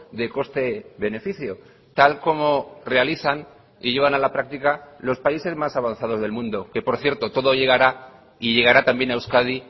de coste beneficio tal como realizan y llevan a la práctica los países más avanzados del mundo que por cierto todo llegará y llegará también a euskadi